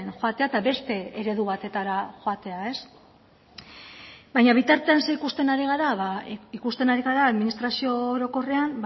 joatea eta beste eredu batetara joatea baina bitartean zer ikusten ari gara ba ikusten ari gara administrazio orokorrean